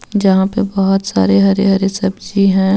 जहाँ पे बोहोत सारे हरे हरे सब्जी हे.